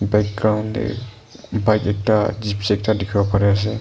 background de bike ekta gypsy ekta dikhi bo pari ase.